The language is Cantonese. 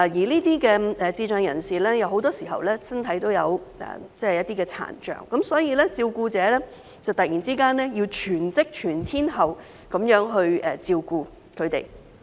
這些智障人士很多身體都有殘障，所以照顧者要突然全職、全天候地照顧他們。